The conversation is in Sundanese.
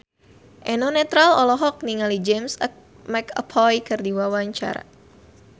Eno Netral olohok ningali James McAvoy keur diwawancara